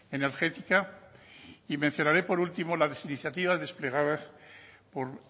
energética y mencionaré por último las iniciativas desplegadas por